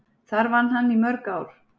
Þar vann hann í mörg ár.